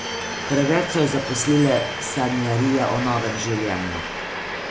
Preveč so jo zaposlile sanjarije o novem življenju.